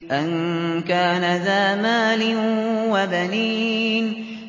أَن كَانَ ذَا مَالٍ وَبَنِينَ